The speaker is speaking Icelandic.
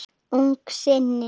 Ungum syni